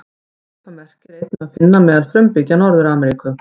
Svipað merki er einnig að finna meðal frumbyggja Norður-Ameríku.